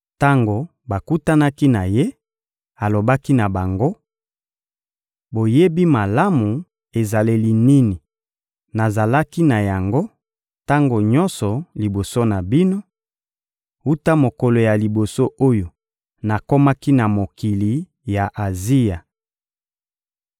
Tango bakutanaki na ye, alobaki na bango: — Boyebi malamu ezaleli nini nazalaki na yango tango nyonso liboso na bino, wuta mokolo ya liboso oyo nakomaki na mokili ya Azia.